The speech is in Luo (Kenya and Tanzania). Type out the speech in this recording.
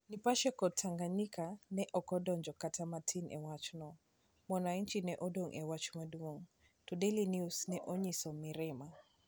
Nipashe kod Tanganyikan ne ok odonjo kata matin e wachno, Mwananchi ne odong ' e wach maduong ', to Daily News ne onyiso mirima.